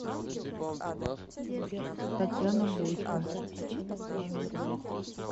татьяна бойко